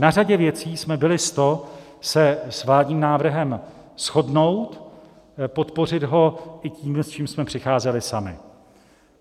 Na řadě věcí jsme byli s to se s vládním návrhem shodnout, podpořit ho i tím, s čím jsme přicházeli sami.